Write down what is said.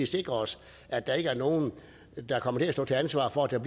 sikre os at der ikke er nogen der kommer til at stå til ansvar for at der